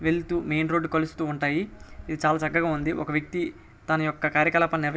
వెళ్తూ main road కలుస్తూ ఉంటాయి. ఇది చాలా చక్కగా ఉంది. ఒక వ్యక్తి తన యొక్క కార్యకలాపాలు నిర్వ--